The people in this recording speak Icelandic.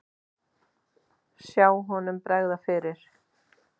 Sjá honum bregða fyrir!